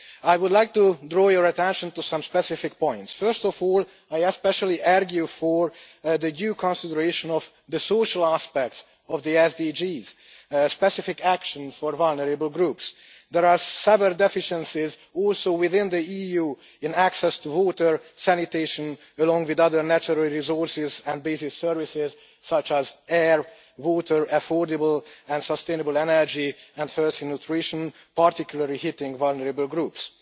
I would like to draw your attention to some specific points. First of all, I argue specifically for due consideration of the social aspects of the SDGs and specific action for vulnerable groups. There are several deficiencies, also within the EU, in access to water, sanitation, along with other natural resources and basic services, such as air, water, affordable and sustainable energy, health and nutrition, which particularly hit vulnerable groups.